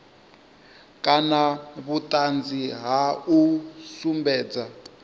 kana vhuṱanzi ha u sumbedza